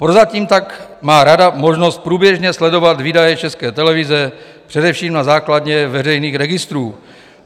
Prozatím tak má Rada možnost průběžně sledovat výdaje České televize, především na základě veřejných registrů.